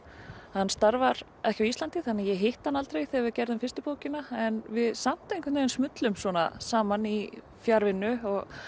hann starfar ekki á Íslandi þannig að ég hitti hann aldrei þegar við gerðum fyrstu bókina en við samt einhvern veginn saman í fjarvinnu